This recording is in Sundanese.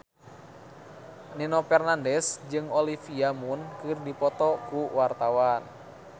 Nino Fernandez jeung Olivia Munn keur dipoto ku wartawan